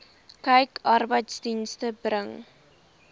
kyk arbeidsdienste bring